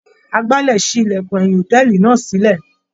Agbálẹ̀ ṣí ilẹ̀kùn ẹ̀yìn hòtẹ́ẹ̀lì náà sílẹ̀.